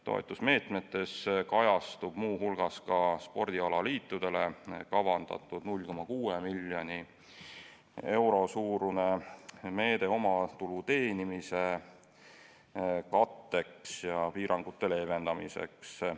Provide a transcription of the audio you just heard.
Toetusmeetmetes kajastub muu hulgas ka spordialaliitudele kavandatud 0,6 miljoni euro suurune meede omatulu teenimise katteks ja piirangute leevendamiseks.